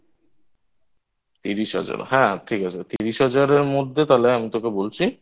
তিরিশ হাজার হ্যাঁ ঠিক আছে তিরিশ হাজারের মধ্যে তাহলে আমি তোকে বলছি